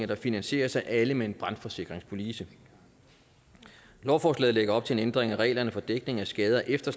der finansieres af alle med en brandforsikringspolice lovforslaget lægger op til en ændring af reglerne for dækning af skader efter